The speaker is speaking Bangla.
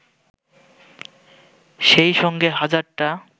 সেই সঙ্গে হাজারটা